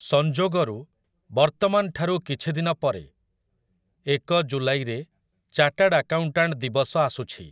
ସଂଯୋଗରୁ, ବର୍ତ୍ତମାନଠାରୁ କିଛିଦିନ ପରେ, ଏକ ଜୁଲାଇରେ ଚାଟାର୍ଡ ଆକାଉଣ୍ଟାଣ୍ଟ୍ ଦିବସ ଆସୁଛି ।